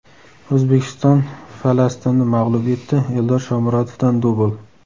O‘zbekiston Falastinni mag‘lub etdi, Eldor Shomurodovdan dubl .